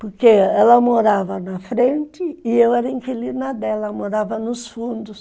Porque ela morava na frente e eu era inquilina dela, morava nos fundos.